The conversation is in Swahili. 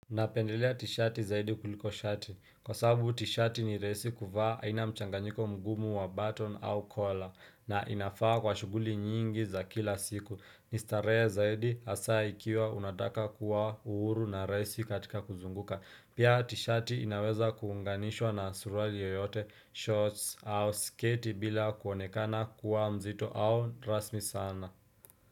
Napendelea tishati zaidi kuliko shati. Kwa sababu tishati ni rahisi kuvaa haina mchanganyiko mgumu wa baton au kola na inafaa kwa shughuli nyingi za kila siku. Nistaree zaidi hasaa ikiwa unataka kuwa uhuru na rahisi katika kuzunguka. Pia tishati inaweza kuunganishwa na suruali yoyote shorts au sketi bila kuonekana kuwa mzito au rasmi sana.